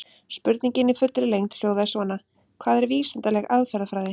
Spurningin í fullri lengd hljóðaði svona: Hvað er vísindaleg aðferðafræði?